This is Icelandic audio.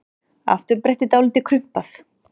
Afturbrettið dálítið krumpað.